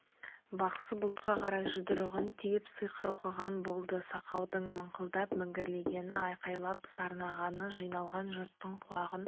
бақсы бұлтқа қарай жұдырығын түйіп сиқыр оқыған болды сақаудың мыңқылдап міңгірлегені айқайлап сарнағаны жиналған жұрттың құлағын